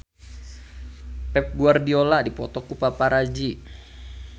Pep Guardiola dipoto ku paparazi